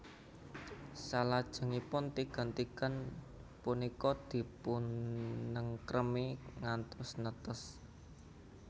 Salajengipun tigan tigan punika dipunengkremi ngantos netes